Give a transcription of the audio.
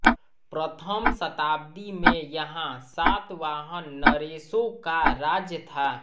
प्रथम शताब्दी में यहाँ सातवाहन नरेशों का राज्य था